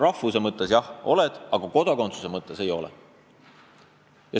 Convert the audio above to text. Rahvuse poolest on nad eestlased, aga kodakondsuse poolest ei ole.